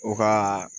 O ka